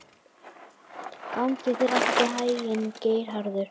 Hjálmey, lækkaðu í græjunum.